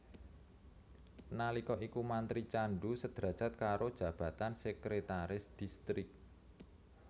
Nalika iku mantri candu sederajat karo jabatan Sekretaris Distrik